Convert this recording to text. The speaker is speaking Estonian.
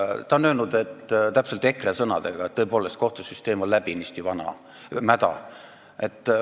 Ta on öelnud täpselt EKRE sõnadega, et kohtusüsteem on läbinisti mäda.